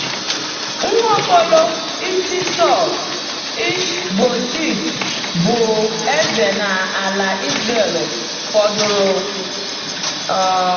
Nwa Okolo Isi Sàụl, Ish-bosheth, bụ eze n’ala Izrel fọdụrụ. um